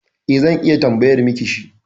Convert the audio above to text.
E, zan iya tambayar miki shi.